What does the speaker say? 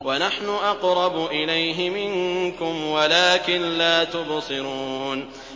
وَنَحْنُ أَقْرَبُ إِلَيْهِ مِنكُمْ وَلَٰكِن لَّا تُبْصِرُونَ